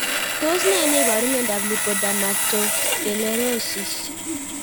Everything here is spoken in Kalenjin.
Tos nee neiparu miondop lipodermatosclerosis?